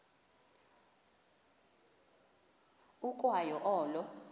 ukwa yo olo